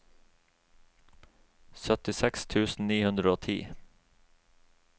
syttiseks tusen ni hundre og ti